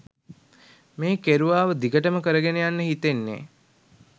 මේ කෙරුවාව දිගටම කරගෙන යන්න හිතෙන්නෙ.